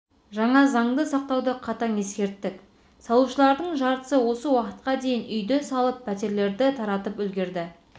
жаңа заңды сақтауды қатаң ескерттік салушылардың жартысы осы уақытқа дейін үйді салып пәтерлерді таратып үлгерді